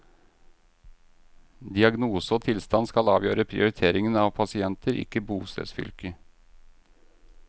Diagnose og tilstand skal avgjøre prioriteringen av pasienter, ikke bostedsfylke.